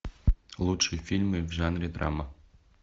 лучшие фильмы в жанре драма